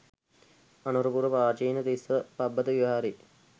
අනුරපුර පාචීන තිස්ස පබ්බත විහාරයේ